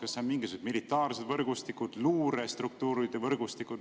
Kas need on mingisugused militaarsed võrgustikud, luurestruktuuride võrgustikud?